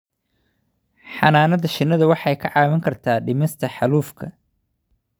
Xannaanada shinnidu waxay kaa caawin kartaa dhimista xaalufka.